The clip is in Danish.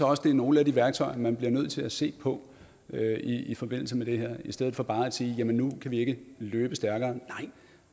også det er nogle af de værktøjer man bliver nødt til at se på i forbindelse med det her i stedet for bare at sige nu kan vi ikke løbe stærkere nej